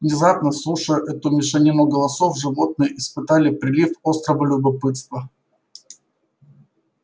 внезапно слушая эту мешанину голосов животные испытали прилив острого любопытства